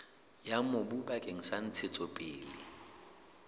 ya mobu bakeng sa ntshetsopele